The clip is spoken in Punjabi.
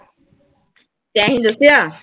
ਤੈਂ ਹੀ ਦੱਸਿਆ।